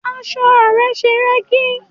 Aṣọ rẹ ṣe rẹ́gí.